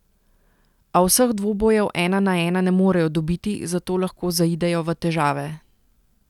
A vseh dvobojev ena na ena ne morejo dobiti, zato lahko zaidejo v težave.